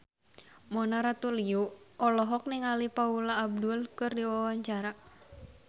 Mona Ratuliu olohok ningali Paula Abdul keur diwawancara